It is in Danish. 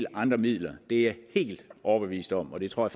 andre midler det er jeg helt overbevist om og det tror